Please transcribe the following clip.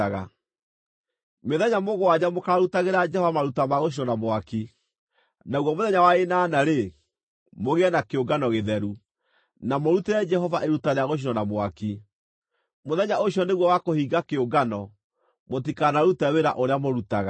Mĩthenya mũgwanja mũkaarutagĩra Jehova maruta ma gũcinwo na mwaki, naguo mũthenya wa ĩnana-rĩ, mũgĩe na kĩũngano gĩtheru, na mũrutĩre Jehova iruta rĩa gũcinwo na mwaki. Mũthenya ũcio nĩguo wa kũhinga kĩũngano; mũtikanarute wĩra ũrĩa mũrutaga.